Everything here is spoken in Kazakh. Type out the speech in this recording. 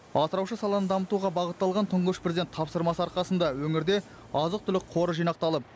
асыраушы саланы дамытуға бағытталған тұңғыш президент тапсырмасы арқасында өңірде азық түлік қоры жинақталып